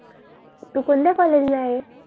तू कोणत्या कॉलेज ला आहे?